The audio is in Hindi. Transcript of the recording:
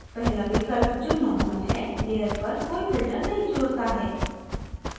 पहला विकल्प जो normal है layer पर कोई filter नहीं जोड़ता है